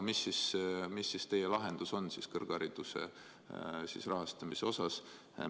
Aga milline siis teie lahendus on kõrghariduse rahastamisega seoses?